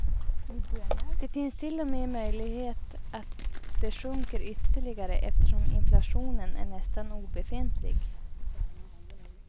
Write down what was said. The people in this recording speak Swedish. Det finns till och med möjlighet att de sjunker ytterligare eftersom inflationen är nästan obefintlig.